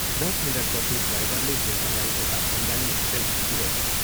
" दश मिनटपछि ड्राइभरले शेखरलाई एउटा बङ्गाली होटेलमा पुऱ्याइदियो।